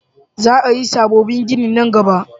Za a yi sabobbin gini nan gaba